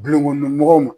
Dulonkɔnɔ mɔgɔw ma